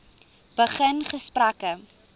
begin gesprekke